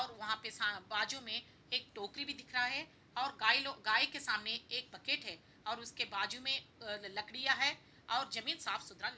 वहाँ पे सा बाजू में एक टोकरी भी दिख रहा है और गाय लोग गाय के सामने एक बकेट है और उसके बाजू में अ लकड़ियां है और जमीन साफ-सुथरा --